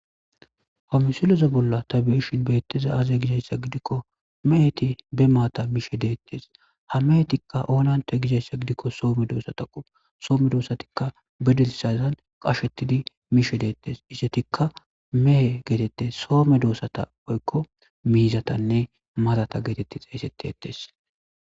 hamisileze bolla tabeishin beetteza aze gidassa gidikko meheti be maata miishe deettes ha mehetikka oonanta gizassa gidikko soome doosa ta qop soome doosatikka bedelsazan qashetidi miishe deettes isetikka mehe geetettes soome doosata oykko miizatanne matata geetetti xayssetteettes